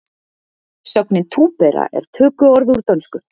Sögnin túpera er tökuorð úr dönsku